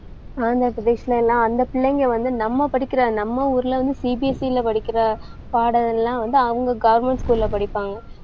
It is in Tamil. பதினெட்டு வயசுல எல்லாம் அந்தப் பிள்ளைங்க வந்து நம்ம படிக்கிற, நம்ம ஊர்ல வந்து CBSE ல படிக்கிற பாடம் எல்லாம் வந்து அவங்க government school ல படிப்பாங்க.